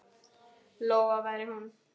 Lóa væri hún.